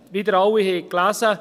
Wie Sie alle gelesen haben: